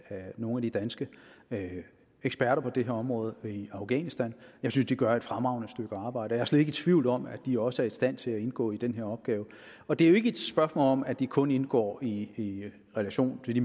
af nogle af de danske eksperter på det her område i afghanistan jeg synes de gør et fremragende stykke arbejde og slet ikke tvivl om at de også er i stand til at indgå i den her opgave og det er jo ikke et spørgsmål om at de kun indgår i relation til de